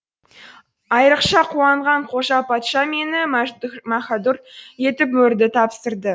айрықша қуанған қожа патша мені мәһәрдүр етіп мөрді тапсырды